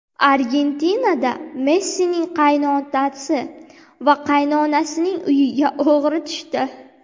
Argentinada Messining qaynotasi va qaynonasining uyiga o‘g‘ri tushdi.